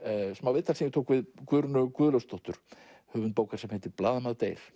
viðtal sem ég tók við Guðrúnu Guðlaugsdóttur höfund bókar sem heitir blaðamaður deyr